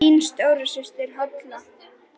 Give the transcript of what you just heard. Þín stóra systir, Halla.